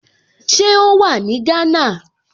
Ṣé ó wà ní Gánà?